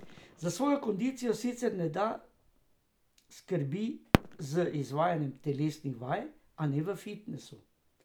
Za svojo kondicijo sicer Neda skrbi z izvajanjem telesnih vaj, a ne v fitnesu.